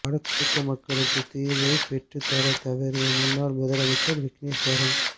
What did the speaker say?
வடக்கு மக்களுக்கு தீர்வைப் பெற்றுத் தர தவறிய முன்னாள் முதலமைச்சர் விக்கினேஸ்வரன்